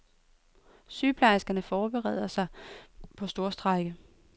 Sygeplejerskerne forbereder sig på storstrejke.